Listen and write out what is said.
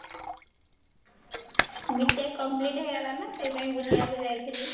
B.tech complete ହେଇଗଲା ନା ସେଇ ପାଇଁ ବୁଲିବା ପାଇଁ ଯାଇଥିଲୁ